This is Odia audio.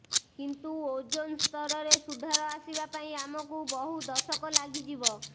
କିନ୍ତୁ ଓଜୋନ ସ୍ତରରେ ସୁଧାର ଆସିବା ପାଇଁ ଆମକୁ ବହୁ ଦଶକ ଲାଗିଯିବ